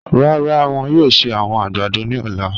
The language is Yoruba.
Rara, wọn yoo ṣe awọn agbado ni ọla.